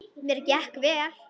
Mér gekk vel.